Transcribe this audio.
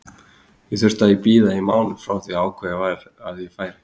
Ég þurfti að bíða í mánuð frá því að ákveðið var að ég færi.